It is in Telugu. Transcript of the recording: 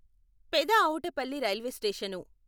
Peda Avutapalli railway station